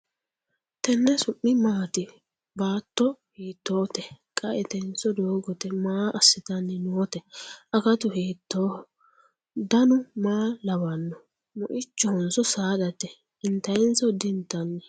Tenne su'mi maatti? Baatto hiittotte? qaettenso doogotte? Maa asittanni nootte? akattu hiittoho? Dannu maa lawannoho? Moyichohonso saadate? intaayihonso? di intanni?